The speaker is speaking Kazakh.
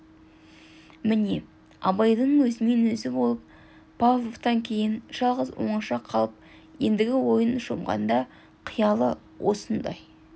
міне абайдың өзімен өзі болып павловтан кейін жалғыз оңаша қалып ендігі ойына шомғанда қиялы осындай